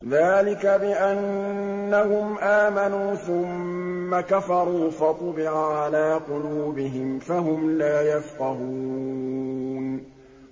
ذَٰلِكَ بِأَنَّهُمْ آمَنُوا ثُمَّ كَفَرُوا فَطُبِعَ عَلَىٰ قُلُوبِهِمْ فَهُمْ لَا يَفْقَهُونَ